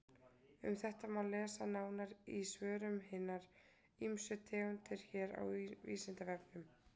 Um þetta má lesa nánar í svörum um hinar ýmsu tegundir hér á Vísindavefnum.